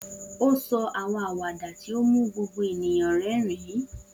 O sọ awọn awada ti o mu gbogbo eniyan rẹrin.